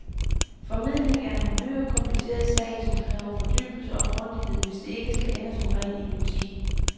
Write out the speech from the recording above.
Formidling er en uhyre kompliceret sag, som kræver fordybelse og grundighed, hvis det ikke skal ende som ren idioti.